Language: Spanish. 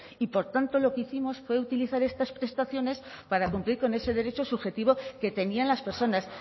y por tanto lo que hicimos fue utilizar estas prestaciones para cumplir con ese derecho subjetivo que tenían las personas